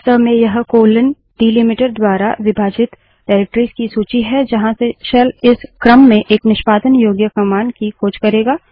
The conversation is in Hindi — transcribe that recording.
वास्तव में यह कोलन डीलिमीटर द्वारा विभाजित निर्देशिकाओं डाइरेक्टरिस की सूची है जहाँ से शेल इस क्रम में एक निष्पादन योग्य कमांड की खोज करेंगा